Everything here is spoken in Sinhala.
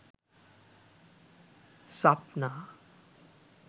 swapna